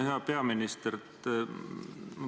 Hea peaminister!